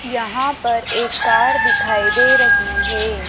यहां पर एक कार दिखाई दे रही है।